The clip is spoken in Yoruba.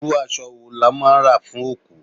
Irú aṣọ wo lọ́ máa ń rà fún òkú?